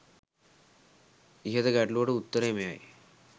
ඉහත ගැටලුවට උත්තරය මෙයයි